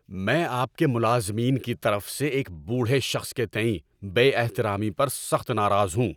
‏میں آپ کے ملازمین کی طرف سے ایک بوڑھے شخص کے تئیں بے احترامی پر سخت ناراض ہوں۔